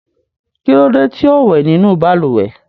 Kí ló dé tí ò wẹ̀ nínú balùwẹ̀?